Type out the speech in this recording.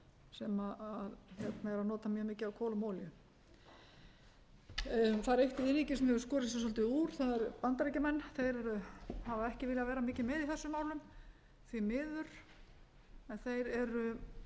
sem eru að nota mjög mikið af kolum og olíu það er eitt iðnríki sem hefur skorið sig svolítið úr það eru bandaríkjamenn þeir hafa ekki viljað vera mikið með í þessum málum því miður en þeir eru með